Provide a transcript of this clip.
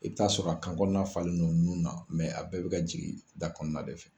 I bi t'a sɔrɔ a kankɔnɔna falen don nun na a bɛɛ bi ka jigin da kɔnɔna de fɛ.